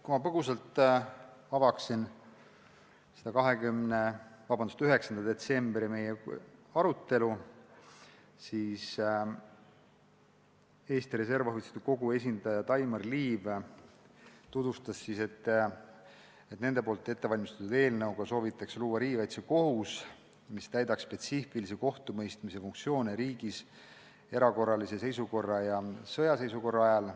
Kui põgusalt avada meie 9. detsembri arutelu, siis Eesti Reservohvitseride Kogu esindaja Daimar Liiv tutvustas, et nende ettevalmistatud eelnõuga soovitakse luua riigikaitsekohus, mis täidaks riigis spetsiifilisi kohtumõistmise funktsioone erakorralise seisukorra ja sõjaseisukorra ajal.